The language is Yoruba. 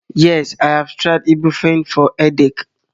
yes, I have tried ibuprofen for headache